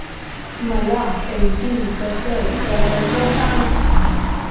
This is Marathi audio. मला पेंटिंग कसं करायचं सांग